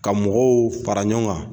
Ka mɔgɔw fara ɲɔgɔn kan